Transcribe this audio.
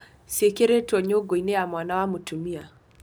IUC nĩ indo cĩĩkĩrĩto nyũngũinĩ ya mwana ya mũtumia.